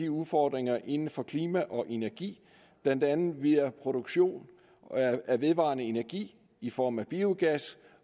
udfordringerne inden for klima og energi blandt andet via produktion af vedvarende energi i form af biogas